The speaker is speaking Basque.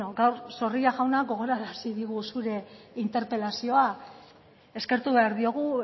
gaur zorrilla jauna gogorarazi digu zure interpelazioa eskertu behar diogu